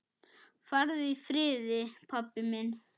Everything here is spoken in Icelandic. Farðu í friði, pabbi minn.